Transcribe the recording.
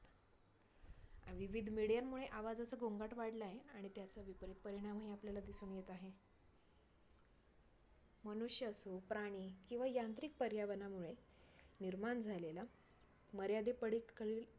विविध medium मुळे आवाजाचा गोंगाट वाढलाय आणि त्याचा विपरीत परिणाम ही आपल्याला दिसून येत आहे. मनुष्य असो, प्राणी किंवा यांत्रिक पर्यावरणामुळे निर्माण झालेला मर्यादे पडीत कल